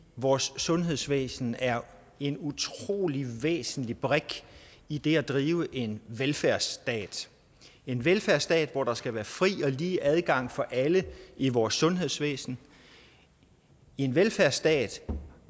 vores sundhedsvæsen er en utrolig væsentlig brik i det at drive en velfærdsstat en velfærdsstat hvor der skal være fri og lige adgang for alle i vores sundhedsvæsen en velfærdsstat